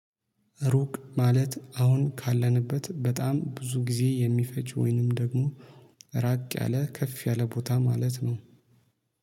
ሩቅ ማለት አሁን ካለንበት በጣም ብዙ ጊዜ የሚፈጅ ወይንም ደግሞ ራቅ ያለ ከፍ ያለ ቦታ ማለት ነው